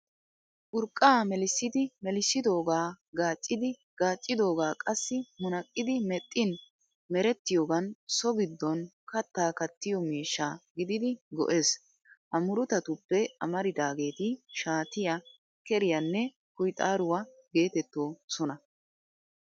Urqqaa melissidi melissidoogaa gaaccidi gaaccidoogaa qassi munaqqidi mexxin merettiyoogan so giddon kattaa kattiyo miishsha gididi go'ees. Ha murutatuppe amaridaageeti shaatiyaa, keriyaanne kuyxaaruwaa geetettoosona.